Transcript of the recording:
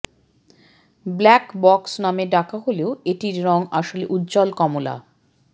black box নামে ডাকা হলেও এটির রং আসলে উজ্জ্বল কমলা